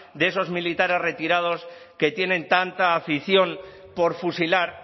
de esos militares retirados que tienen tanta afición por fusilar